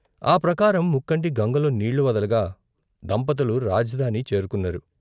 ఆ ప్రకారం ముక్కంటి గంగలో నీళ్ళు వదలగా దంపతులు రాజధాని చేరుకున్నారు.